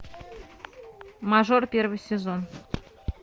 мажор первый сезон